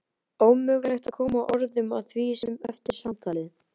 Ómögulegt að koma orðum að því eftir samtalið.